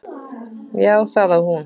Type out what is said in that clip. Já, það á hún.